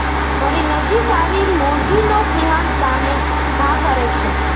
ફરી નજીક આવી મુરઘી નો સિંહણ સામે ઘા કરે છે